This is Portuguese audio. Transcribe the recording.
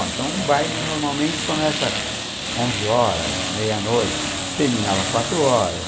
Então, o baile normalmente começa onze horas, meia-noite, terminava quatro horas.